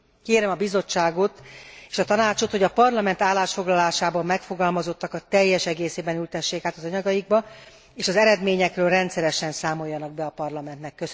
Kérem a Bizottságot és a Tanácsot, hogy a Parlament állásfoglalásában megfogalmazottakat teljes egészében ültessék át az anyagaikba, és az eredményekről rendszeresen számoljanak be a Parlamentnek.